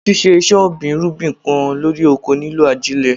Ṣíṣe ìṣe ọ̀gbìn irúgbìn kan lórí oko ní lò ajílẹ̀.